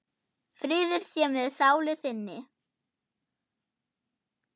Friður sé með sálu þinni.